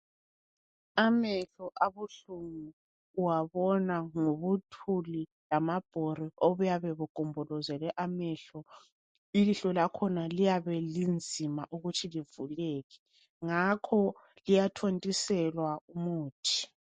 Amehlo abuhlungu uwabona ngobuthuli lamabhori okuyabe kugombolizele amehlo. Ilihlo lakhona liyabe linzima ukuthi livuleke. Ngakho liyathontiselwa umuthi.